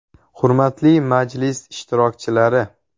Hurmatli majlis ishtirokchilari!